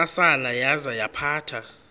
ntsasana yaza yaphatha